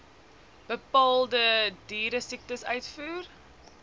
bepaalde dieresiektes uitvoer